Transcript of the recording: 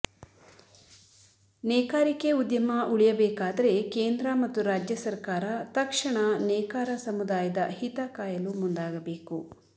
ನೇಕಾರಿಕೆ ಉದ್ಯಮೆ ಉಳಿಯಬೇಕಾದರೆ ಕೇಂದ್ರ ಮತ್ತು ರಾಜ್ಯ ಸರಕಾರ ತಕ್ಷಣ ನೇಕಾರ ಸಮುದಾಯದ ಹಿತ ಕಾಯಲು ಮುಂದಾಗಬೇಕು